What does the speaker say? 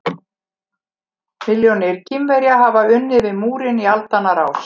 Milljónir Kínverja hafa unnið við múrinn í aldanna rás.